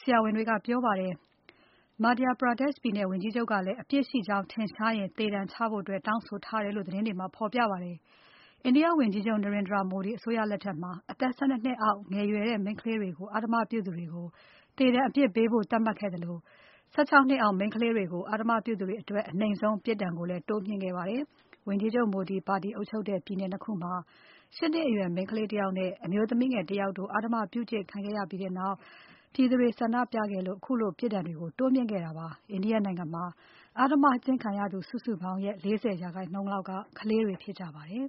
ဆရာဝန်တွေက ပြောပါတယ်။ Madhya Pradesh ပြည်နယ် ဝန်ကြီးချုပ်ကလည်း အပြစ်ရှိကြောင်းထင်ရှားရင် သေဒဏ် ချဖို့ တောင်းဆိုထားတယ်လို့ သတင်းတွေမှာ ဖော်ပြပါတယ်။ India ဝန်ကြီးချုပ် Narendra Modi အစိုးရလက်ထက်မှာ အသက် ၁၂ နှစ်အောက်ငယ်ရွယ်တဲ့ မိန်းကလေးတွေကို အဓမ္မ ပြုသူတွေကို သေဒဏ်အပြစ်ပေးဖို့ သတ်မှတ်ခဲ့သလို ၁၆ နှစ်အောက် မိန်းကလေးတွေကို အဓ္ဓမပြုသူတွေအတွက် အနိမ့်ဆုံးပြစ်ဒဏ်ကိုလည်း တိုးမြှင့်ခဲ့ပါတယ်။ ဝန်ကြီးချုပ် Modi ပါတီအုပ်ချုပ်တဲ့ ပြည်နယ် ၂ ခုမှာ ၈ နှစ်အရွယ် မိန်းကလေးတယောက် နဲ့ အမျိုးသမီးငယ်တယောက်တို့ အဓ္ဓမကျင့်ခံခဲ့ရပြီးနောက် ပြည်သူတွေဆန္ဒပြခဲ့ကြလို့ ခုလို ပြစ်ဒဏ်တွေကို တိုးမြှင့်ခဲ့တာဖြစ်ပါတယ်။ India နိုင်ငံမှာ အဓ္ဓမကျင့်ခံရသူစုစုပေါင်းရဲ့ ၄၀% လောက်က ကလေးငယ်တွေ ဖြစ်ကြပါ တယ်။